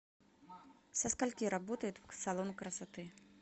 со скольки работает салон красоты